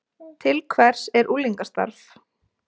Til hvers er unglingastarf